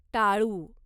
टाळू